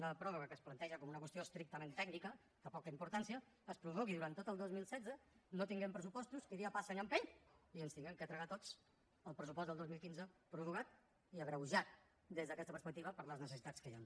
una pròrroga que es planteja com una qüestió estrictament tècnica de poca importància es prorrogui durant tot el dos mil setze no tinguem pressupostos qui dia passa any empeny i ens hàgim d’empassar tots el pressupost del dos mil quinze prorrogat i agreujat des d’aquesta perspectiva per les necessitats que hi han